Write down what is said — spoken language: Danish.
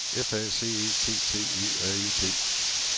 F A C E T T E R E T